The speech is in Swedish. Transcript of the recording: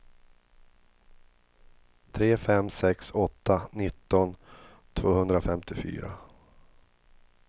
tre fem sex åtta nitton tvåhundrafemtiofyra